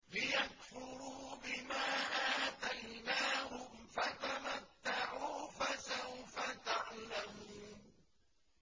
لِيَكْفُرُوا بِمَا آتَيْنَاهُمْ ۚ فَتَمَتَّعُوا فَسَوْفَ تَعْلَمُونَ